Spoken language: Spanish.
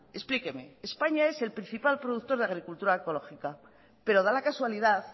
explíqueme españa es el principal productor de agricultura ecológica pero da la casualidad